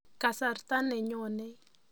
Kasarta ne nyonei.